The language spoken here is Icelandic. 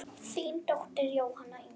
Þín dóttir Jóhanna Inga.